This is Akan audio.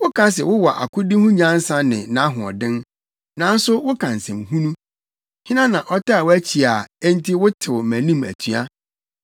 Woka se wowɔ akodi ho nyansa ne nʼahoɔden, nanso woka nsɛm hunu. Hena na ɔtaa wʼakyi a enti wotew mʼanim atua?